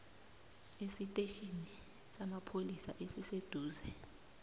esitetjhini samapholisa esiseduze